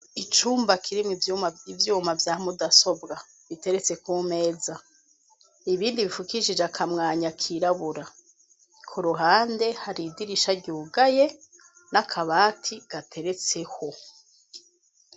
Icumba kirimwo ivyuma vya mudasobwa biteretse ku meza, ibindi bipfukishije akamwanya kirabura. Ku ruhande hari idirisha ryugaye n'akabati gateretseho.